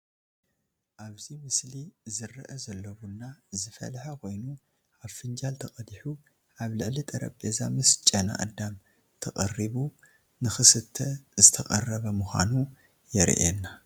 ኣብ እዚ ምስሊ ዝርአ ዘሎ ቡና ዝፍለሐ ኮይኑ ኣብ ፍንጃል ተቀዲሑ ኣብ ልዕሊ ጠረጰዛ ምስ ጨናኣደም ተቀሪቡ ንክስተ ዝተቀረበ ምካኑ የርየና።